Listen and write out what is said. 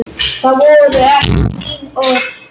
Það voru ekki mín orð